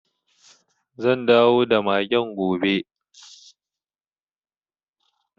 Zan dawo da magen gobe.